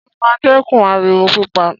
Ṣé ó máa dẹ́kun ariwo pípa?